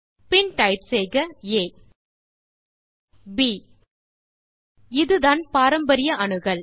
பின் type செய்க ஆ PIN ப் இதுதான் பாரம்பரிய அணுகல்